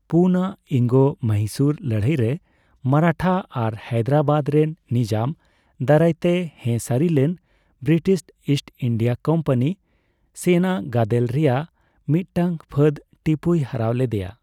ᱯᱩᱱᱟᱜ ᱤᱝᱜᱚᱼᱢᱚᱦᱤᱥᱩᱨ ᱞᱟᱹᱲᱦᱟᱹᱭ ᱨᱮ, ᱢᱟᱨᱟᱴᱷᱟ ᱟᱨ ᱦᱟᱭᱫᱨᱟᱵᱟᱫ ᱨᱮᱱ ᱱᱤᱡᱟᱢ ᱫᱟᱨᱟᱭ ᱛᱮ ᱦᱮᱸ ᱥᱟᱹᱨᱤ ᱞᱮᱱ ᱵᱨᱤᱴᱤᱥ ᱤᱥᱴ ᱤᱱᱰᱤᱭᱟ ᱠᱳᱢᱯᱟᱱᱤ ᱥᱮᱱᱟ ᱜᱟᱫᱮᱞ ᱨᱮᱭᱟᱜ ᱢᱤᱫ ᱴᱟᱝ ᱯᱷᱟᱹᱫ ᱴᱤᱯᱩᱭ ᱦᱟᱨᱟᱣ ᱞᱮᱫᱮᱭᱟ ᱾